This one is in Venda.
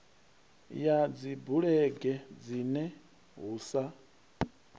ya dzibulege dzine hu sa